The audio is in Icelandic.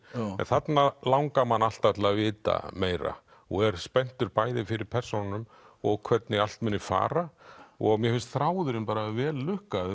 en þarna langar mann alltaf til að vita meira og er spenntur bæði fyrir persónunum og hvernig allt muni fara og mér finnst þráðurinn bara vel